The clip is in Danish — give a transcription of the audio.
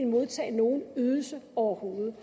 modtage nogen ydelse overhovedet